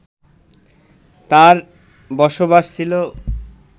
তার বসবাস ছিল